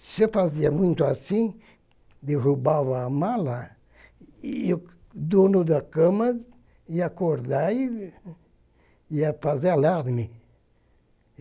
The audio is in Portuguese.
Se eu fazia muito assim, derrubava a mala, e o dono da cama ia acordar e e ia fazer alarme.